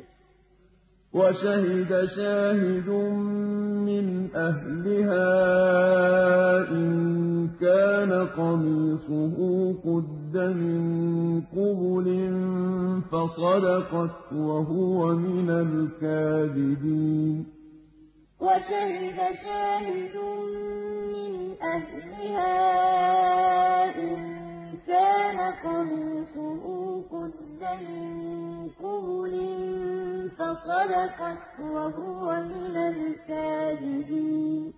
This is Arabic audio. ۚ وَشَهِدَ شَاهِدٌ مِّنْ أَهْلِهَا إِن كَانَ قَمِيصُهُ قُدَّ مِن قُبُلٍ فَصَدَقَتْ وَهُوَ مِنَ الْكَاذِبِينَ قَالَ هِيَ رَاوَدَتْنِي عَن نَّفْسِي ۚ وَشَهِدَ شَاهِدٌ مِّنْ أَهْلِهَا إِن كَانَ قَمِيصُهُ قُدَّ مِن قُبُلٍ فَصَدَقَتْ وَهُوَ مِنَ الْكَاذِبِينَ